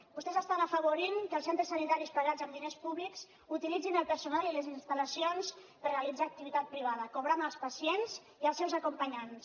vostès estan afavorint que els centres sanitaris pagats amb diners públics utilitzin el personal i les installacions per realitzar activitat privada cobrant als pacients i als seus acompanyants